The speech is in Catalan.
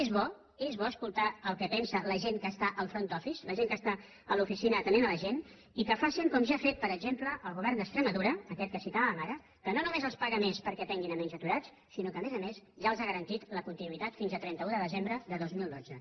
és bo és bo escoltar el que pensa la gent que està al front office la gent que està a l’oficina atenent la gent i que facin com ja ha fet per exemple el govern d’extremadura aquest que citàvem ara que no només els paga més perquè atenguin menys aturats sinó que a més a més ja els ha garantit la continuïtat fins a trenta un de desembre de dos mil dotze